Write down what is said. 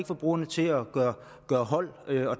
forbrugerne til at gøre holdt og